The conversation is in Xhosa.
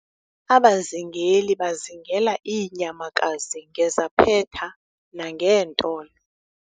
abazingeli bazingela iinyamakazi ngezaphetha nangeentolo